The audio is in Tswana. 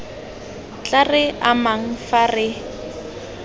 tla re amang fa re